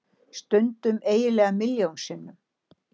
Stundum eiginlega milljón sinnum.